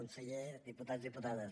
conseller diputats diputades